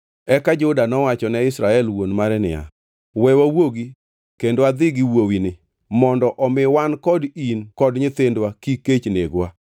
Eka Juda nowacho ne Israel wuon mare niya, “We wawuogi kendo adhi gi wuowini, mondo omi wan kod in kod nyithindwa kik kech negwa.